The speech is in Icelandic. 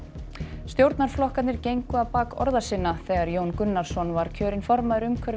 stjórnarflokkarnir gengu á bak orða sinna þegar Jón Gunnarsson var kjörinn formaður umhverfis